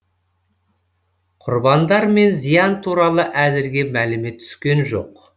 құрбандар мен зиян туралы әзірге мәлімет түскен жоқ